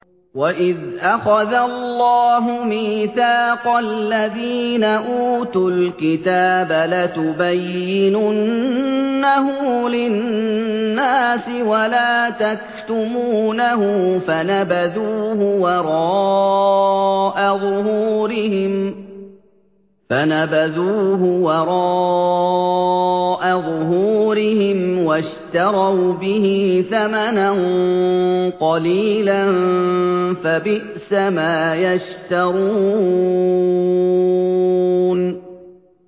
وَإِذْ أَخَذَ اللَّهُ مِيثَاقَ الَّذِينَ أُوتُوا الْكِتَابَ لَتُبَيِّنُنَّهُ لِلنَّاسِ وَلَا تَكْتُمُونَهُ فَنَبَذُوهُ وَرَاءَ ظُهُورِهِمْ وَاشْتَرَوْا بِهِ ثَمَنًا قَلِيلًا ۖ فَبِئْسَ مَا يَشْتَرُونَ